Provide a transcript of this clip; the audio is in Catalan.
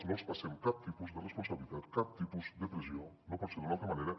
no els passem cap tipus de responsabilitat cap tipus de pressió no pot ser d’una altra manera